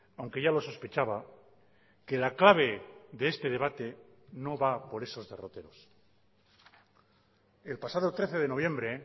aunque ya lo sospechaba que la clave de este debate no va por esos derroteros el pasado trece de noviembre